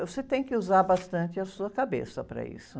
Você tem que usar bastante a sua cabeça para isso.